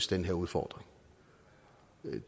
den her udfordring